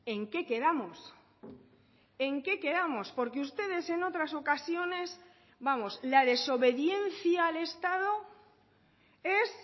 en qué quedamos en qué quedamos por que ustedes en otras ocasiones vamos la desobediencia al estado es